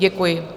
Děkuji.